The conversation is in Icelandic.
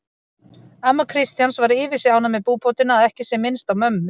Amma Kristjáns var yfir sig ánægð með búbótina að ekki sé minnst á mömmu